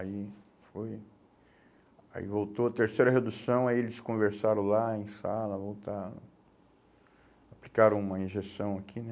Aí foi, aí voltou, terceira redução, aí eles conversaram lá em sala, voltaram, aplicaram uma injeção aqui, né.